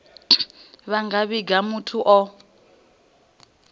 vha nga vhiga muthu o